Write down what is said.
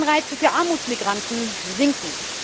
Die Anreize für Armutsmigranten sinken.